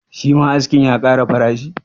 Shima askin ya kara farashi?